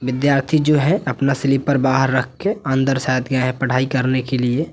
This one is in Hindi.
विद्यार्थी जो है अपना स्लीपर बाहर रख के अंदर शायद गए है पढ़ाई करने के लिए।